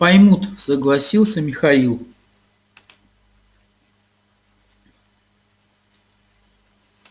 поймут согласился михаил